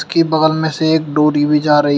की बगल में से एक डोरी भी जा रही--